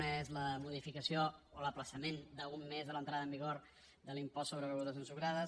una és la modificació o l’ajornament d’un mes de l’entrada en vigor de l’impost sobre begudes ensucrades